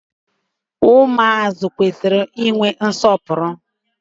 Ụmụazị kwesiri I nwe nsọpụrụ.